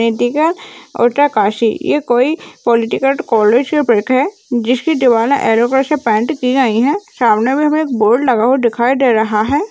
उत्तरकाशी ये कोई polytechnic college की पिक है जिसकी दीवाल एलो कलर से पेंट की गयी है सामने में भी एक बोर्ड लगा दिखाई दे रहा है।